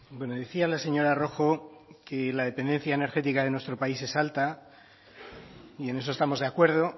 bueno decía la señora rojo que la dependencia energética de nuestro país es alta y en eso estamos de acuerdo